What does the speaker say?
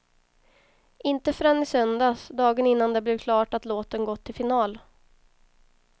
Inte förrän i söndags, dagen innan det blev klart att låten gått till final.